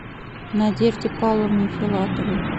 надежде павловне филатовой